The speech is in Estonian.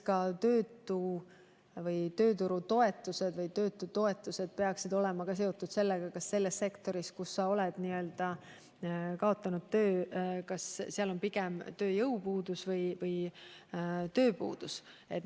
Ka tööturutoetused või töötutoetused peaksid olema seotud sellega, kas selles sektoris, kus sa oled töö kaotanud, on tööjõupuudus või pigem tööpuudus.